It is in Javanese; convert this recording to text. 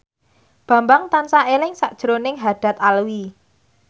Bambang tansah eling sakjroning Haddad Alwi